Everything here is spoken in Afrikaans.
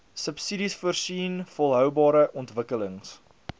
subsidiesvoorsien volhoubare ontwikkelings